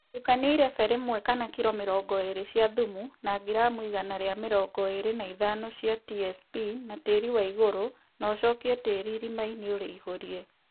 Tukania irebe rĩmwe (kiro mĩrongo ĩrĩ) cia thumu na ngiramu igana rĩa mĩrongo ĩrĩ na ithano cia TSP na tĩri wa igũrũ na ũcokie tĩri ĩrima-inĩ ũrĩihũrie